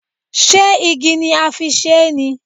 Ṣé igi ni a fi ṣe é ni?